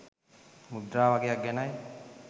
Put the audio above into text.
මුද්‍රා වගයක් ගැනයි.